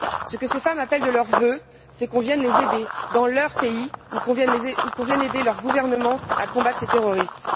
Ce que ces femmes appellent de leurs vœux, c'est qu'on vienne les aider dans leur pays ou que l'on vienne aider leur gouvernement à combattre ces terroristes.